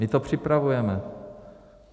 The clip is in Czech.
My to připravujeme.